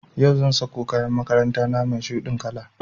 Yau zan sako kayan makaranta na mai shuɗin kala